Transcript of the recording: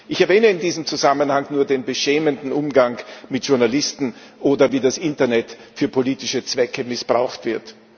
Ich erwähne in diesem Zusammenhang nur den beschämenden Umgang mit Journalisten, oder wie das Internet für politische Zwecke missbraucht wird.